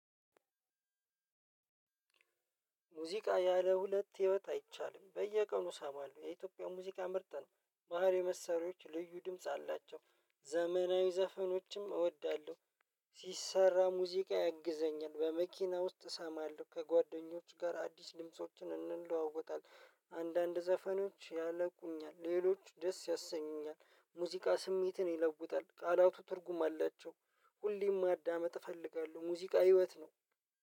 ሙዚቃ ያለ ሁለት ህይወት አይቻልም። በየቀኑ እሰማለው የኢትዮጵያ ሙዚቃ ምርጥ ነው። ባህላዊ መሰሪያዎች ልዩ ድምጽ አላቸው። ዘመናዊ ዘፈኖችም እወዳለሁ። ሲሰራ ሙዚቃ ያግዘኛል በመኪና ውስጥ እሰማለሁ ከጓደኞች ጋር አዲስ ድምፆችን እንለዋወጣለን። አንዳንድ ዘፈኖች ያለቁኛል ሌሎች ደስ ያሰኙኛል። ሙዚቃ ስሜትን ይለውጣል ቃላቱ ትርጉም አላቸው። ሁሌም ማዳመጥ እፈልጋለሁ ሙዚቃ ህይወት ነው።